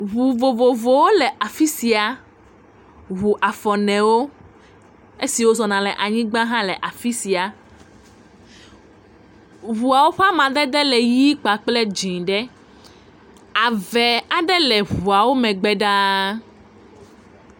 ʋu vovovowo le afisia, ʋu afɔnewo esiwo zɔna le anyigbã hã le afisia ʋuawo ƒa madede le ɣie kple dzĩɖe ave aɖe le ʋuawo megbe ɖaa